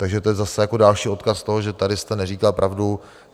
Takže to je zase jako další odkaz toho, že tady jste neříkal pravdu.